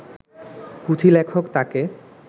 পুঁথিলেখক তাঁকে